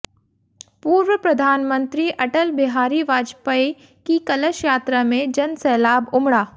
पूर्व प्रधानमंत्री अटल बिहारी वाजपेयी की कलश यात्रा में जनसैलाब उमड़ा